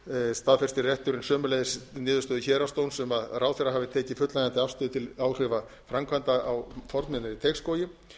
staðfestir hæstiréttur þá niðurstöðu héraðsdóms að ráðherra hafi tekið fullnægjandi afstöðu til áhrifa framkvæmdarinnar á fornminjar í teigsskógi í